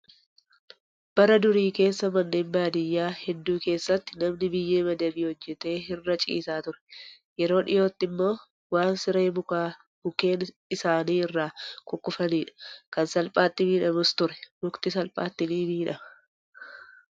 Bara durii keessa manneen baadiyyaa hedduu keessatti namni biyyee madabii hojjatee irra ciisaa ture. Yeroo dhiyootti immoo waan siree mukaa mukkeen isaanii irraa kukkufanidha. Kan salphaatti miidhamus ture. Mukti salphaatti ni miidhama.